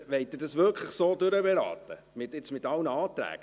Wollen Sie das jetzt wirklich so durchberaten, mit allen Anträgen?